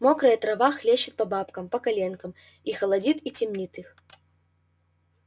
мокрая трава хлещет по бабкам по коленкам и холодит и темнит их